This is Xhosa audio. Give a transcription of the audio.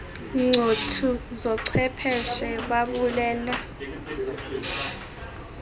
ncothu zochwepheshe babulela